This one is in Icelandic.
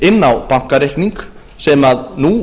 inn á bankareikning sem nú